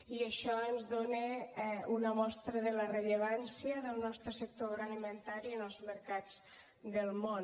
i això ens dóna una mostra de la rellevància del nostre sector agroalimentari en els mercats del món